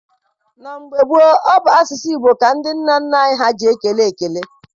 Na mgbe gboo, ọ bụ n'asụsụ Igbo ka ndị nna nna anyị ha ji ekele ekele.